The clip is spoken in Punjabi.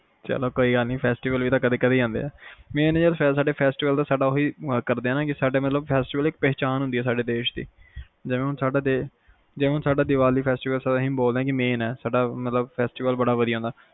ਚਲੋ ਕੋਈ ਗੱਲ ਨੀ festival ਵੀ ਤਾ ਕਦੇ ਕਦੇ ਈ ਆਂਦੇ ਆ main ਯਾਰ ਸਾਡੇ festival ਦਾ ਓਹੀ ਕਰਦੇ ਆ festival ਇੱਕ ਪਹਿਚਾਣ ਹੁੰਦੀ ਆ ਸਾਡਾ ਦੇਸ਼ ਦੀ ਜਿਵੇ ਹੁਣ ਆਪਣਾ ਦੀਵਾਲੀ festival ਸਾਡਾ main ਹੈ ਦੀਵਾਲੀ ਫੈਸਟੀਵਲ ਬੜਾ ਵਧੀਆ ਹੁੰਦਾ